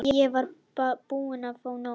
Ég var búin að fá nóg.